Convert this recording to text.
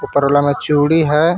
ऊपर वाला में चूड़ी है.